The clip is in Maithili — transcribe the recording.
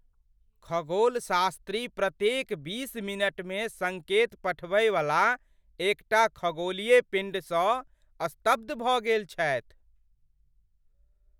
खगोलशास्त्री प्रत्येक बीस मिनटमे सङ्केत पठबयवला एकटा खगोलीय पिण्डसँ स्तब्ध भऽ गेल छथि।